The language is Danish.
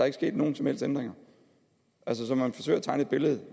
ikke sket nogen som helst ændringer altså man forsøger at tegne et billede